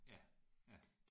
Ja ja